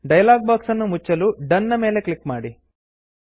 dialog box ಅನ್ನು ಮುಚ್ಚಲು done done ನ ಮೇಲೆ ಕ್ಲಿಕ್ ಮಾಡಿ